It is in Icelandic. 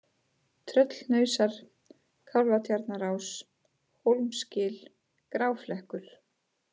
Tröllhnausar, Kálfatjarnarás, Hólmsgil, Gráflekkur